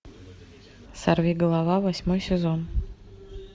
сорвиголова восьмой сезон